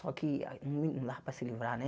Só que não dá para se livrar, né?